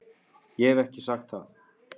Ég hef ekki sagt það!